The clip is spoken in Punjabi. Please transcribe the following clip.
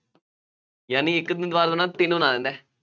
ਯਾਨੀ ਇੱਕ ਦਿਨ ਦੀਵਾਰ ਦੇ ਨਾਲ ਤਿੰਨ ਬਣਾ ਦਿੰਦਾ ਹੈ